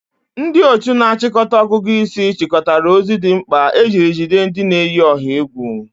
Ndị otu na-achịkọta ọgụgụ isi chịkọtara ozi dị mkpa ejiri jide ndị na-eyi ọha egwu.